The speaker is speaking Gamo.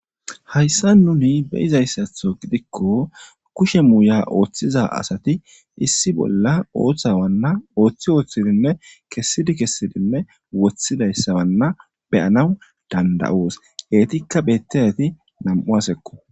Hayssan nuuni be7izayssaso gidikko kushe muuya ooththida asathi issi bola oosawanna ooththidi ooththidinne kessidi kessidinne woththizaysawanna be7anawu dandda7oos; heethikka beeththiyaethi nam7u asakko.